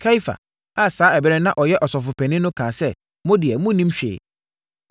Kaiafa a saa ɛberɛ no na ɔyɛ ɔsɔfopanin no kaa sɛ, “Mo deɛ, monnim hwee!